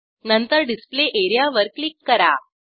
नंतर display area वर click करा